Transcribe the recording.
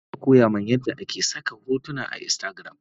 Zainab ta koyamin yadda ake saka hotuna a instagram